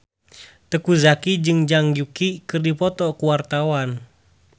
Teuku Zacky jeung Zhang Yuqi keur dipoto ku wartawan